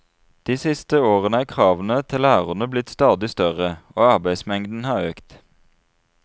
De siste årene er kravene til lærerne blitt stadig større, og arbeidsmengden har økt.